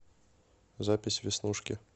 запись веснушки